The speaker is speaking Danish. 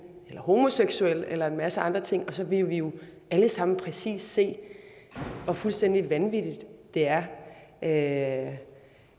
eller homoseksuel eller en masse andre ting og så ville vi jo alle sammen præcis se hvor fuldstændig vanvittigt det er at